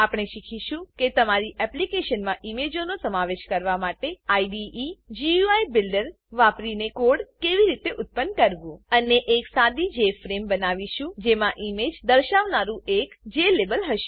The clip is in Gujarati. આપણે શીખીશું કે તમારી એપ્લીકેશનમાં ઈમેજોનો સમાવેશ કરવા માટે આઈડીઈ ગુઈ બિલ્ડર વાપરીને કોડ કેવી રીતે ઉત્પન્ન કરવું અને એક સાદી જેએફઆરએમઈ બનાવીશું જેમાં ઈમેજ દર્શાવનારુ એક જ્લાબેલ હશે